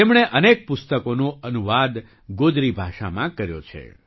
તેમણે અનેક પુસ્તકોનો અનુવાદ ગોજરી ભાષામાં કર્યો છે